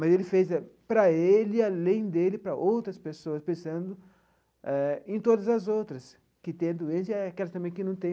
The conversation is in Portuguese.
Mas ele fez para ele e além dele, para outras pessoas, pensando eh em todas as outras que têm a doença e aquelas também que não têm,